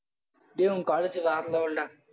டேய் உன் college வேற level டா